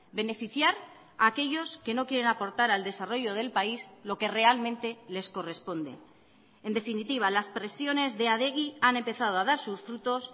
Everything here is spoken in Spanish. beneficiar a aquellos que no quieren aportar al desarrollo del país lo que realmente les corresponde en definitiva las presiones de adegi han empezado a dar sus frutos